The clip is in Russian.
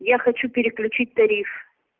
я хочу переключить тариф